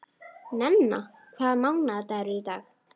Nenna, hvaða mánaðardagur er í dag?